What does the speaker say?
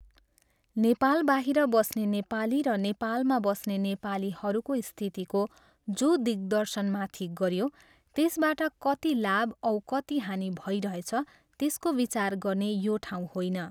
नेपालबाहिर बस्ने नेपाली र नेपालमा बस्ने नेपालीहरूको स्थितिको जो दिग्दर्शन माथि गरियो त्यसबाट कति लाभ औ कति हानि भइरहेछ त्यसको विचार गर्ने यो ठाउँ होइन।